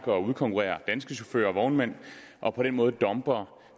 og udkonkurrerer danske chauffører og vognmænd og på den måde dumper